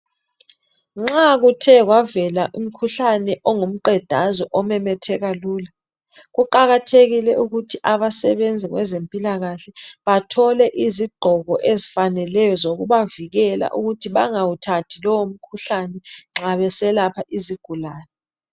Nxa kuthe kwavela umkhuhlane ongumqedazwe omemetheka lula , kuqakathekile ukuthi abasebenzi kwezempilakahle bathole izigqoko ezifaneleyo zokubavikela ukuba bengawuthathi lowo mkhuhlane nxa beselapha izigulane